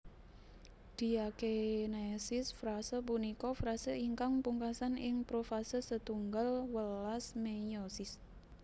Diakinesis Frase punika frase ingkang pungkasan ing Profase setunggal welas meiosis